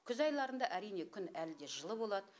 күз айларында әрине күн әлі де жылы болады